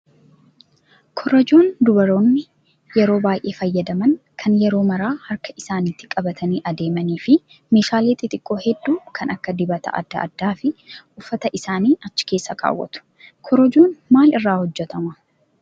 Korojoon dubaroonni yeroo baay'ee fayyadaman kan yeroo maraa harka isaaniitti qabatanii adeemanii fi meeshaalee xixiqqoo hedduu kan akka dibata adda addaa fi uffata isaanii achi keessa kaawwatu. Korojoon maal irraa hojjatama?